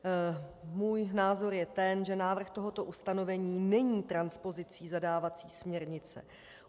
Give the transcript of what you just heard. Můj názor je ten, že návrh tohoto ustanovení není transpozicí zadávací směrnice.